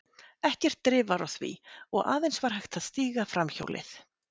Ekkert drif var á því, og var aðeins hægt að stíga framhjólið.